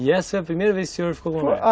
E essa foi a primeira vez que o senhor ficou